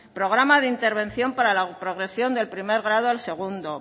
programa de intervención para la progresión del primer grado al segundo